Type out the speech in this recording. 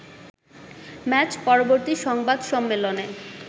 match পরবর্তী সংবাদ সম্মেলনে